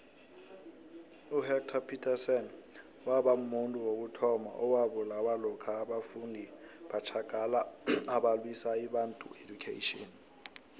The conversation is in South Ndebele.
uhector petrson wabamuntu wokuthoma owabulawa lokha abafundi batjagala abalwisa ibantu education